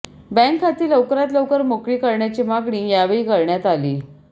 बॅंकखाती लवकरात लवकर मोकळी करण्याची मागणी यावेळी करण्यात आली